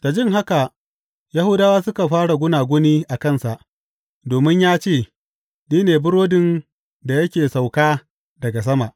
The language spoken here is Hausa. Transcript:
Da jin haka, Yahudawa suka fara gunaguni a kansa, domin ya ce, Ni ne burodin da ya sauka daga sama.